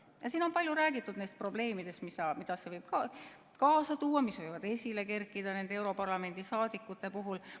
Ja siin on palju räägitud neist probleemidest, mida see võib kaasa tuua, mis võivad esile kerkida nende europarlamendi liikmete puhul.